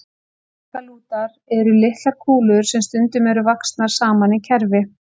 Baggalútar eru litlar kúlur sem stundum eru vaxnar saman í kerfi.